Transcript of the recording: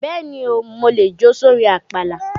Bẹ́ẹ̀ni o, mo lè jó sórin àpàlà.